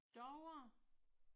Davre